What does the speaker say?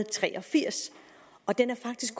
tre og firs og den er faktisk